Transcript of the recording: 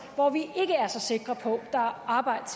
hvor vi ikke er så sikre på at der er arbejde